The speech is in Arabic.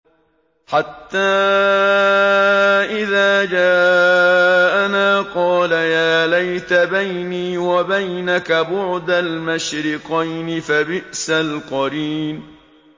حَتَّىٰ إِذَا جَاءَنَا قَالَ يَا لَيْتَ بَيْنِي وَبَيْنَكَ بُعْدَ الْمَشْرِقَيْنِ فَبِئْسَ الْقَرِينُ